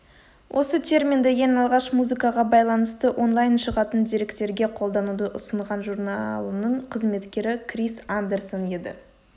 осы терминді ең алғаш музыкаға байланысты онлайн шығатын деректерге қолдануды ұсынған журналының қызметкері крис андэрсон еді